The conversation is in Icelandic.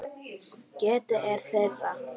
Getið er þeirra.